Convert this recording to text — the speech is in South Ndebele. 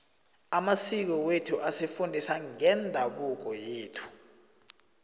amasiko wethu asifundisa ngeendabuko yethu